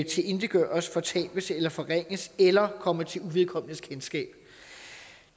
tilintetgøres fortabes eller forringes eller kommer til uvedkommendes kendskab